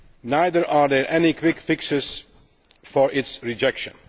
Neither are there any quick fixes for its rejection.